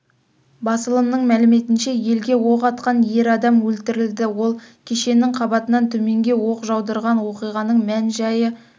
басылымының мәліметінше елге оқ атқан ер адам өлтірілді ол кешенінің қабатынан төменге оқ жаудырған оқиғаның мән-жайы